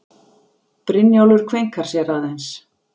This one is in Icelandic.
Brynjólfur kveinkar sér aðeins.